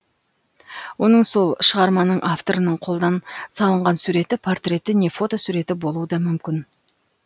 оның сол шығарманың авторының қолдан салынған суреті портреті не фотосуреті болуы да мүмкін